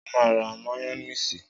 Sọ ma ra máyónísì?